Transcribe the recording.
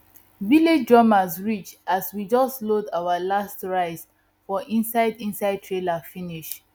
village drummers reach as we just load our last rice for inside inside trailer finish